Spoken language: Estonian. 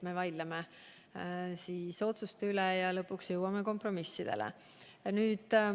Me vaidleme otsuste üle ja lõpuks jõuame kompromissile.